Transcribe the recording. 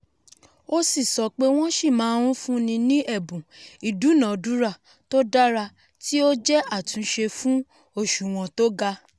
ó si sopé"wọ́n sì máa ń fúnni ní ẹ̀bùn ìdúnàádúrà tó dára tí ó jẹ́ àtúnṣe fún òṣùwọ̀n tó ga"